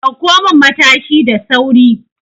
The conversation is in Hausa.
Dauko min Matashi da sauri!